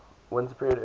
winter period early